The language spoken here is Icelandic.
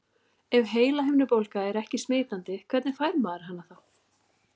Ef heilahimnubólga er ekki smitandi, hvernig fær maður hana þá?